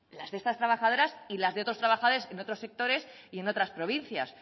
claro que sí las de estas trabajadoras y las de otros trabajadores en otros sectores y en otras provincias